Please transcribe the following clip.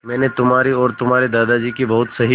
मैंने तुम्हारी और तुम्हारे दादाजी की बहुत सही